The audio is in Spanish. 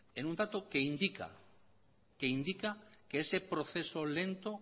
en un dato que indica que ese proceso lento